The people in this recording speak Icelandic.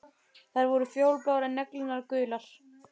Þær voru fjólubláar, en neglurnar gular.